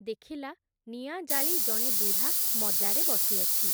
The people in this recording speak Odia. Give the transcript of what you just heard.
ଦେଖିଲା, ନିଆଁ ଜାଳି ଜଣେ ବୁଢ଼ା ମଜାରେ ବସିଅଛି ।